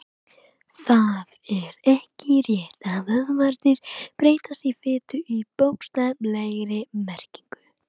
Það er ekki rétt að vöðvarnir breytist í fitu í bókstaflegri merkingu.